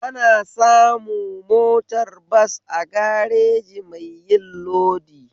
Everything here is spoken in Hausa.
Ana samu motar bas a gareji mai yin lodi